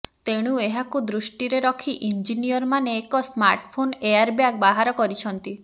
ତେଣୁ ଏହାକୁ ଦୃଷ୍ଟିରେ ରଖି ଇଞ୍ଜିନିୟର ମାନେ ଏକ ସ୍ମାର୍ଟଫୋନ ଏୟାର ବ୍ୟାଗ ବାହାର କରିଛନ୍ତି